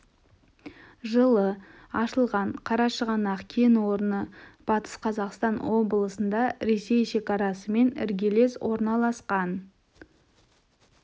жылы ашылған қарашығанақ кен орны батыс қазақстан облысында ресей шекарасымен іргелес орналасқан